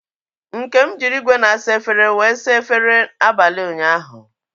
Nkem jiri igwe na-asa efere wee saa efere abalị ụnyaahụ.